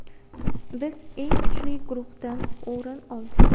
Biz eng kuchli guruhdan o‘rin oldik.